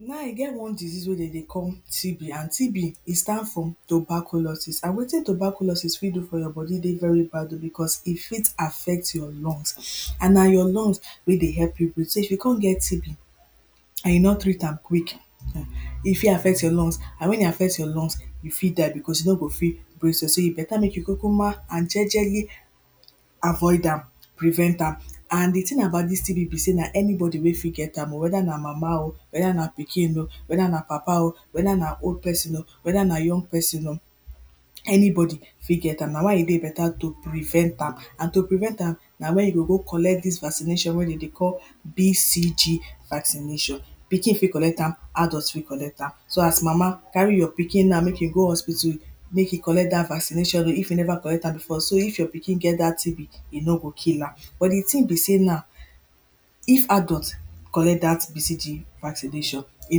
Now e get one disease mek dem dey call TB and TB e stand for tuberculosis and wetin tuberculosis fit do for your body dey very bad o becos e fit affect your lungs and na your lungs wey dey help you breathe. So if you come get TB and you no treat am quick ehn, e fit affect your lungs and when e affect your lungs you fit die becos you no go fit breath well. So e better mek you kukuma and jejeli afford am, prevent am and di thing about dis TB be sey na everybody wey fit get am whether na mama o, whether na pikin o, whether na papa o, whether na old person o, whether na young person o anybody fit get am na why e dey better to prevent am and to prevent am na wen you go go collect dis vaccination wey e dey call BCG vaccination. Pikin fit collect am, adult fit collect am. So as mama, carry your pikin go na, mek e go hospital mek e go collect dat vaccination if e never collect am before, so if your pikin get dat TB, e no go kill am but di thing be sey, now if adult collect dat BCG vaccination, e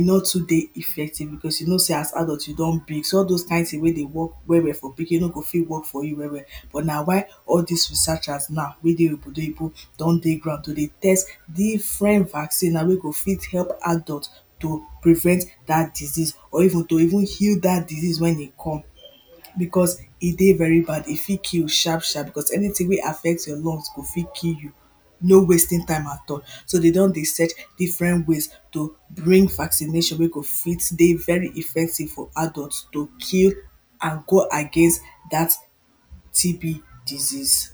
no too dey effective becos you know sey as adult you don big so all dose kind thing wey dey work well well for pikin no go fit work for you well well. But na why all dis researchers now wey dey ogbodoyinbo don dey ground to dry test different vaccine now wey go fit help adult to prevent dat disease or even to even heal dat disease wen e come, becos e dey very bad e fit kill sharp sharp becos anything wey affect your lungs go fit kill you no wasting time at all so dey don dey search different ways to bring vaccination wey go fit dey very effective for adult to kill and go against dat TB disease.